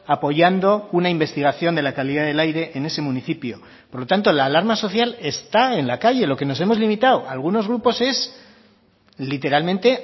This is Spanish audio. apoyando una investigación de la calidad del aire en ese municipio por lo tanto la alarma social está en la calle lo que nos hemos limitado algunos grupos es literalmente